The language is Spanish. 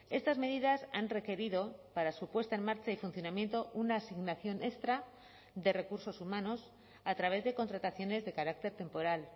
estas medidas han requerido para su puesta en marcha y funcionamiento una asignación extra de recursos humanos a través de contrataciones de carácter temporal